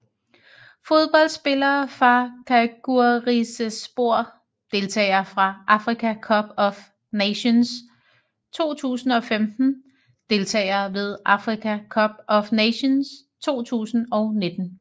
Fodboldspillere fra Çaykur Rizespor Deltagere ved Africa Cup of Nations 2015 Deltagere ved Africa Cup of Nations 2019